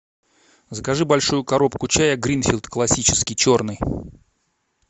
закажи большую коробку чая гринфилд классический черный